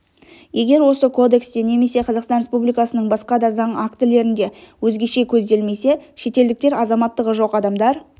егер осы кодексте немесе қазақстан республикасының басқа да заң актілерінде өзгеше көзделмесе шетелдіктер азаматтығы жоқ адамдар